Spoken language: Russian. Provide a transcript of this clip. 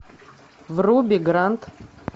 вруби грант